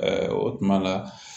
o tuma la